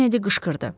Kennedi qışqırdı.